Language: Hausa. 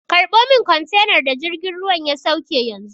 Karɓo min kwantenar da jirgin ruwan ya sauke yanzu!